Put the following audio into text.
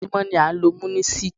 Ojoojúmọ́ ni a ń lo Munisik.